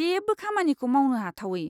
जेबो खामानिखौ मावनो हाथावै।